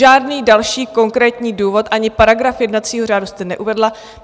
Žádný další konkrétní důvod ani paragraf jednacího řádu jste neuvedla.